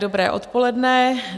Dobré odpoledne.